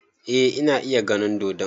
Eh ina iya ganin dodon